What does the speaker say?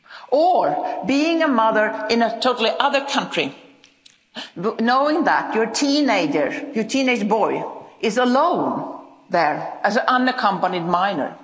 Or being a mother in a totally other country knowing that your teenager, your teenage boy, is alone there as unaccompanied minor.